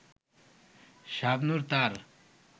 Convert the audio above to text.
শাবনূর তার